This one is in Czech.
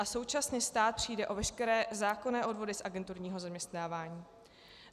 A současně stát přijde o veškeré zákonné odvody z agenturního zaměstnávání.